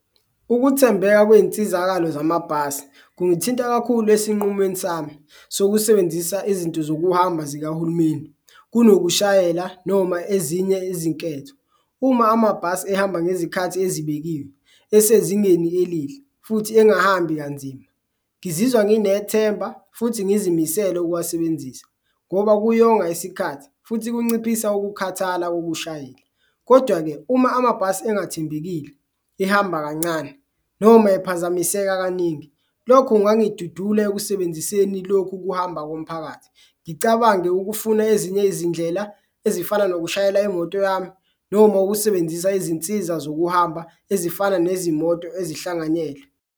Ukuthembeka kwey'nsizakalo zamabhasi kungithinta kakhulu esinqumweni sami sokusebenzisa izinto zokuhamba zikahulumeni kunokushayela noma ezinye izinketho. Uma amabhasi ehamba ngezikhathi ezibekiwe, esezingeni elihle futhi engahambi kanzima, ngizizwa nginethemba futhi ngizimisele ukuwasebenzisa ngoba kuyonga isikhathi futhi kunciphisa ukukhathala kokushayela. Kodwa-ke uma amabhasi engathembekile, ehamba kancane noma ephazamiseka kaningi lokhu kungangidudula ekusebenziseni lokhu kuhamba komphakathi ngicabange ukufuna ezinye izindlela ezifana nokushayela imoto yami. Noma ukusebenzisa izinsiza zokuhamba ezifana nezimoto ezihlanganyelwe.